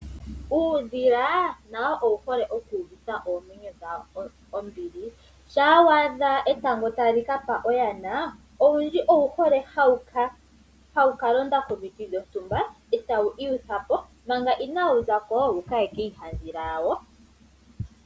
Uudhila nawo owuhole okuuvitha oomwenyo dhawo ombili shampa waadha etango talikapa oyana, owundji owuhole tawukalonda komiti dhontumba e takiihutha po mpanga inawuzako wukaye kiihadhila wawo.